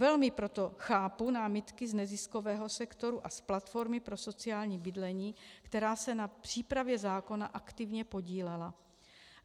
Velmi proto chápu námitky z neziskového sektoru a z Platformy pro sociální bydlení, která se na přípravě zákona aktivně podílela.